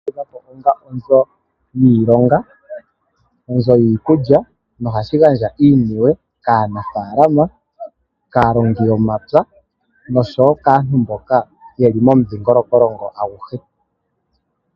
Onzo yiikulya kaalongi pshowo kaantu mboak yeli